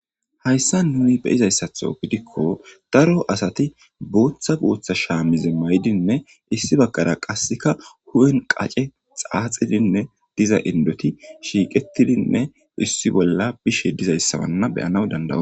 Hayssa nuyi be izayssatho gidikko daro asati boththa booththa shaamize maydinne issi bakkara qasseka huwen qace xaaxidinne diza indoti shiiqetidinne issi bolla bishe dizayssawanna beyanaw dandawe.